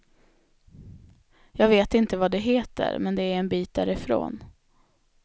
Jag vet inte vad det heter, men det är en bit därifrån.